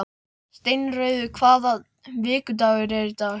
Steinröður, hvaða vikudagur er í dag?